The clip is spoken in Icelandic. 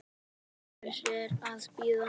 Hvers er að bíða?